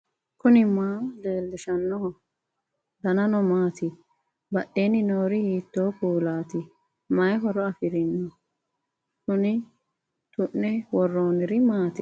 knuni maa leellishanno ? danano maati ? badheenni noori hiitto kuulaati ? mayi horo afirino ? kuni tu'ne worroonniri maati